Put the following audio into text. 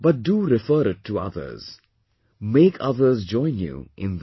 But do refer it to others; make others join you in that